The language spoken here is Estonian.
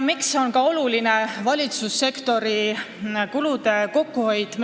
Meie eelnõu tähendab vähemalt poolemiljonilist kokkuhoidu.